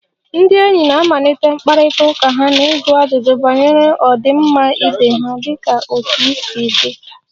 Ndị enyi na-amalite mkparịta ụka ha na ịjụ ajụjụ banyere ọdịmma ibe ha dịka 'otú ị si dey'